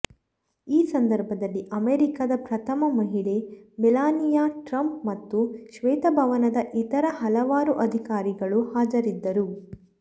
ಈ ಸಂದರ್ಭದಲ್ಲಿ ಅಮೆರಿಕದ ಪ್ರಥಮ ಮಹಿಳೆ ಮೆಲಾನಿಯಾ ಟ್ರಂಪ್ ಮತ್ತು ಶ್ವೇತಭವನದ ಇತರ ಹಲವಾರು ಅಧಿಕಾರಿಗಳು ಹಾಜರಿದ್ದರು